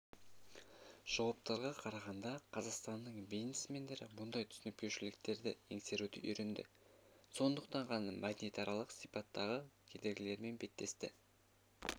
жауаптарға қарағанда қазақстанның бизнесмендері мұндай түсініспеушіліктерді еңсеруді үйренді сондықтан ғана мәдениетаралық сипаттағы кедергілермен беттесті